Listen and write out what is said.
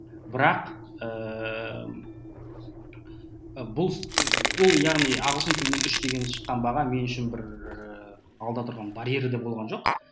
бірақ ыыы бұл ол яғни ағылшын тілінен үш деген шыққан баға мен үшін бір ііі алда тұрған барьері де болған жоқ